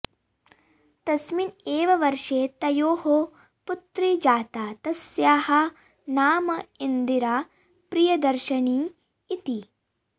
तस्मिन् एव वर्षे तयोः पुत्री जाता तस्याः नाम इन्दिरा प्रियदर्शिनी इति